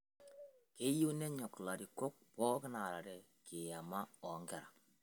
Keyieu nenyok larikok pooki aarare kiyama oo nkera